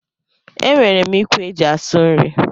E nwèrè m ikwe e ji asụ nri.